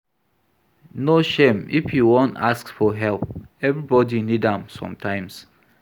No shame if you wan ask for help, everybodi need am sometimes.